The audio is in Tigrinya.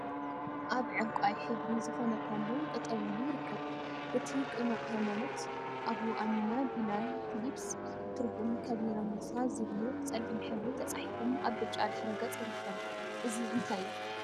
አብ ዕንቋይ ሕብሪ ዝኮነ ፓሎ ጠጠው ኢሉ ይርከብ፡፡ እቲ ቅኑዕ ሃይማኖት፣ አቡ አሚና ቢላል ፊሊፕስ፣ ትርጉም፣ ከቢረ ሙሳ ዝብሉ ብፀሊም ሕብሪ ተፃሒፎም አብ ብጫ ድሕረ ገፅ ይርከቡ፡፡ እዚ እንታይ እዩ?